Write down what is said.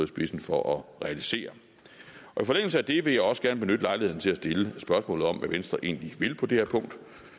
spidsen for at realisere i forlængelse af det vil jeg også gerne benytte lejligheden til at stille spørgsmålet om hvad venstre egentlig vil på det her punkt